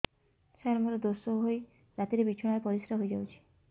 ସାର ମୋର ଦୋଷ ହୋଇ ରାତିରେ ବିଛଣାରେ ପରିସ୍ରା ହୋଇ ଯାଉଛି